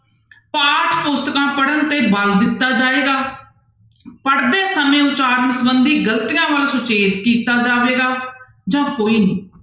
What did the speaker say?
ਪਾਠ ਪੁਸਤਕਾਂ ਪੜ੍ਹਨ ਤੇ ਬਲ ਦਿੱਤਾ ਜਾਏਗਾ ਪੜ੍ਹਦੇ ਸਮੇਂ ਉਚਾਰਨ ਸੰਬੰਧੀ ਗ਼ਲਤੀਆਂ ਸੁਚੇਤ ਕੀਤਾ ਜਾਵੇਗਾ ਜਾਂ ਕੋਈ ਨਹੀਂ।